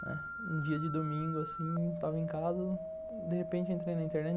Né, um dia de domingo, estava em casa, de repente entrei na internet.